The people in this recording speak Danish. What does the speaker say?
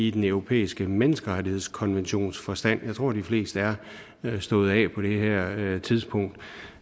i den europæiske menneskerettighedskonventions forstand jeg tror de fleste er stået af på det her tidspunkt